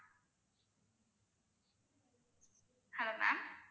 hello ma'am